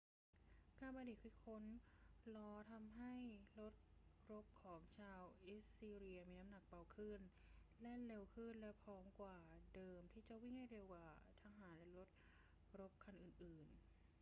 การประดิษฐ์คิดค้นล้อทำให้รถรบของชาวอัสซีเรียมีน้ำหนักเบาขึ้น แล่นเร็วขึ้น และพร้อมกว่าเดิมที่จะวิ่งให้เร็วกว่าทหารและรถรบคันอื่น ๆ